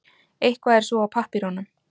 Eitthvað er svo á pappírunum